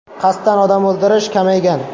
Qasddan odam o‘ldirish kamaygan.